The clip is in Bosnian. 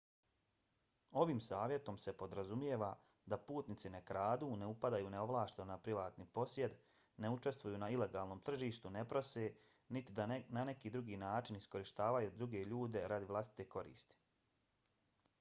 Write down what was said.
ovim savjetom se podrazumijeva da putnici ne kradu ne upadaju neovlašteno na privatni posjed ne učestvuju na ilegalnom tržištu ne prose niti da na neki drugi način iskorištavaju druge ljude radi vlastite koristi